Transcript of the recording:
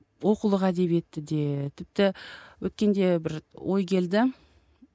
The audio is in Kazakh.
оқулық әдебиеті де тіпті өткенде бір ой келді